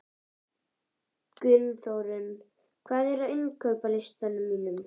Gunnþórunn, hvað er á innkaupalistanum mínum?